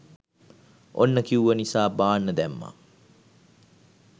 ඔන්න කිව්ව නිසා බාන්න දැම්මා